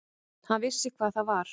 Hann vissi hvað það var.